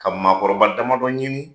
Ka maakɔrɔba damadɔ ɲini